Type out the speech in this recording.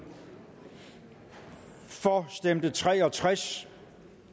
for stemte tre og tres